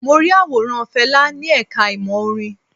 Mo rí àwòrán Fẹlá ni ẹ̀ka ìmọ̀ orin.